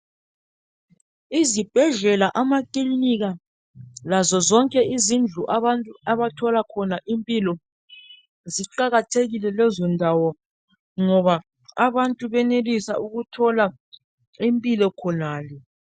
Izibhedlela, amakilinika, lazo zonke izindlu zemtholampilo ziqakathekile ngoba ziyanika abantu ukuphila.